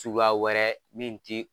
Suguya wɛrɛ min ti